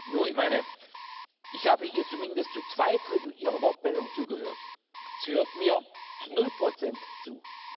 Nur, ich meine, ich habe ihr zumindest zu zwei Drittel ihrer Wortmeldung zugehört, sie hört mir zu null Prozent zu.